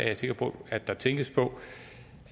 jeg sikker på at der tænkes på